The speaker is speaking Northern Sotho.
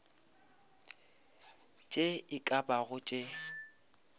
tše e ka bago tše